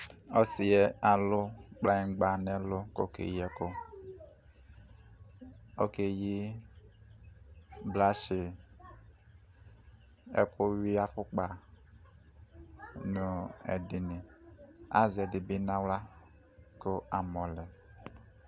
ɔsiɛ alo kplayigba no ɛlu ko okeyi ɛkò okeyi brush ɛkò wi afokpa no edi ni azɛ ɛdini bi no ala ko amɔ lɛ